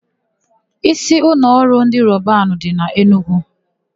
Ísíụlọọrụ ndị Robanu dị n'Enugwu.